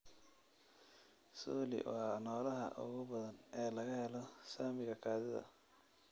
coli waa noolaha ugu badan ee laga helo saamiga kaadida.